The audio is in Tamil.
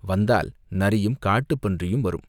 வந்தால் நரியும், காட்டுப் பன்றியும் வரும்.